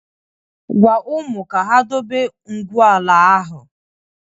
Gwaa ụmụ ka ha dobe ngwu ala ahụ!